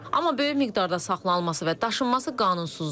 Amma böyük miqdarda saxlanılması və daşınması qanunsuzdur.